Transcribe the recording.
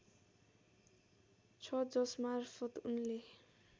छ जसमार्फत उनले